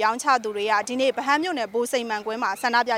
ရောင်းချသူ ၃ဝ ကျော်က ဒီနေ့ ရန်ကုန်မြို့၊ ဗဟန်းမြို့နယ်က ဗိုလ်စိန်မှန်ကွင်းမှာ ဆန္ဒပြ